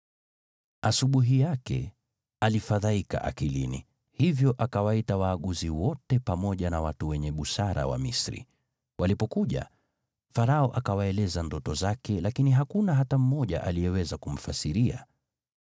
Asubuhi yake, alifadhaika akilini, hivyo akawaita waaguzi wote pamoja na watu wenye busara wa Misri. Walipokuja, Farao akawaeleza ndoto zake, lakini hakuna hata mmoja aliyeweza kumfasiria.